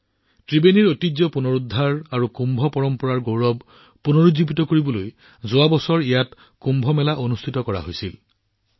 ত্ৰিবেণীৰ সাংস্কৃতিক ঐতিহ্য পুনৰুদ্ধাৰ আৰু কুম্ভ পৰম্পৰাৰ গৌৰৱ পুনৰুজ্জীৱিত কৰিবলৈ যোৱা বছৰ ইয়াত কুম্ভ মেলাৰ আয়োজন কৰা হৈছিল